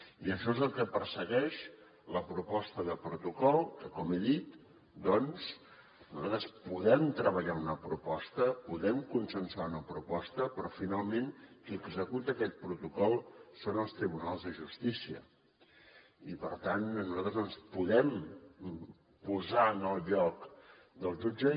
i això és el que persegueix la proposta de protocol que com he dit doncs nosaltres podem treballar una proposta podem consensuar una proposta però finalment qui executa aquest protocol són els tribunals de justícia i per tant nosaltres no ens podem posar en el lloc del jutge